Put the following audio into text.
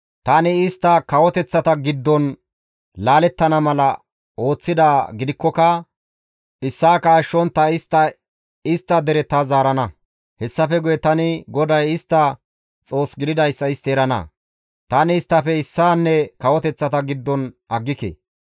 Tani istta kawoteththa giddon laalettana mala ooththidaa gidikkoka issaaka ashshontta istta istta dere ta zaarana; hessafe guye tani GODAY istta Xoos gididayssa istti erana; Tani isttafe issaanne kawoteththa giddon aggike.